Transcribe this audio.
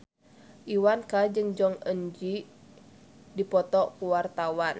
Iwa K jeung Jong Eun Ji keur dipoto ku wartawan